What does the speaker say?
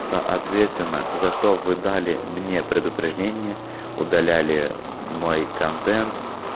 соответственно за что вы дали мне предупреждение удаляли мой контент